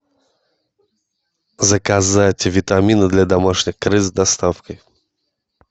заказать витамины для домашних крыс с доставкой